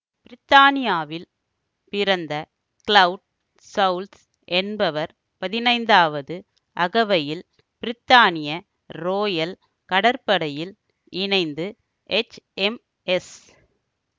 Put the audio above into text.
பிரித்தானியாவில் பிறந்த Claude Choules என்பவர் பதினைந்தாவது அகவையில் பிரித்தானிய ரோயல் கடற்படையில் இணைந்து எச்எம்எஸ்